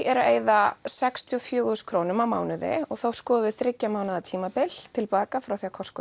eru að eyða sextíu og fjögur þúsund krónum á mánuði og þá skoðum við þriggja mánaða tímabil tilbaka frá því að Costco